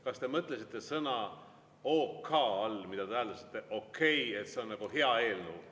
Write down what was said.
Kas te mõtlesite sõna "OK" all, mida te hääldasite "okei", et see on hea eelnõu?